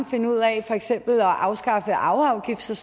finde ud af for eksempel at afskaffe arveafgift så